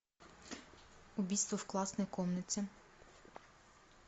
убийство в классной комнате